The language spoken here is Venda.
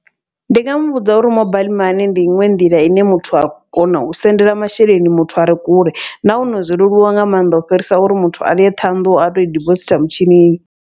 Ndi nga muvhudza uri mobaiḽi mani ndi iṅwe nḓila ine muthu a kona u sendela masheleni muthu are kule, nahone zwo leluwa nga maanḓa u fhirisa uri muthu aye Ṱhohoyanḓou a toi dibositha mutshinini.